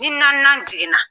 Ni naaninan digina.